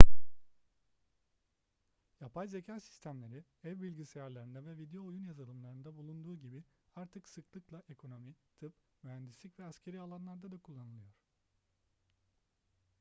yapay zeka sistemleri ev bilgisayarlarında ve video oyun yazılımlarında bulunduğu gibi artık sıklıkla ekonomi tıp mühendislik ve askeri alanlarda da kullanılıyor